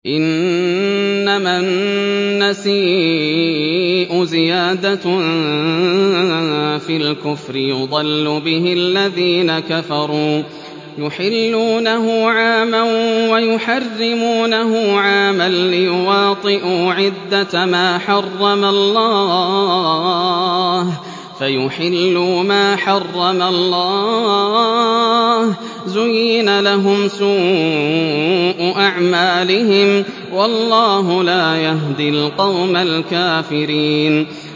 إِنَّمَا النَّسِيءُ زِيَادَةٌ فِي الْكُفْرِ ۖ يُضَلُّ بِهِ الَّذِينَ كَفَرُوا يُحِلُّونَهُ عَامًا وَيُحَرِّمُونَهُ عَامًا لِّيُوَاطِئُوا عِدَّةَ مَا حَرَّمَ اللَّهُ فَيُحِلُّوا مَا حَرَّمَ اللَّهُ ۚ زُيِّنَ لَهُمْ سُوءُ أَعْمَالِهِمْ ۗ وَاللَّهُ لَا يَهْدِي الْقَوْمَ الْكَافِرِينَ